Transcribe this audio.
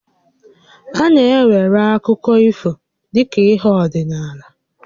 A na-ewere akụkọ ifo dị ka ihé ọdịnaala